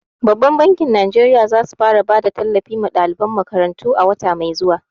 Babbar bankin Najeriya za su fara bada tallafi ma daliban makarantu a wata mai zuwa.